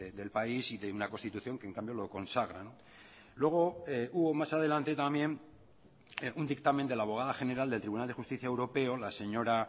del país y de una constitución que en cambio lo consagra luego hubo más adelante también un dictamen de la abogada general del tribunal de justicia europeo la señora